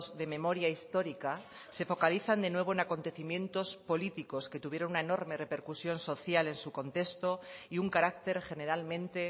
de memoria histórica se focalizan de nuevo en acontecimientos políticos que tuvieron una enorme repercusión social en su contexto y un carácter generalmente